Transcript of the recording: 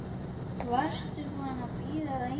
Varstu búin að bíða lengi?